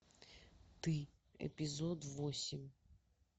ты эпизод восемь